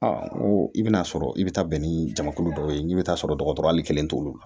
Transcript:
i bɛn'a sɔrɔ i bɛ taa bɛn ni jamakulu dɔ ye i bɛ t'a sɔrɔ dɔgɔtɔrɔ kelen t'olu la